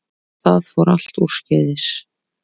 Það fór allt úrskeiðis